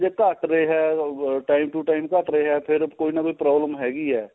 ਜੇ ਘੱਟ ਰਿਹਾ time time to time ਘੱਟ ਰਿਹਾ ਫੇਰ ਕੋਈ ਕੋਈ ਨਾ ਕੋਈ problem ਹੈਗੀ ਹੈ